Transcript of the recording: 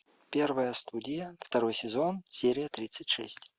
первая студия второй сезон серия тридцать шесть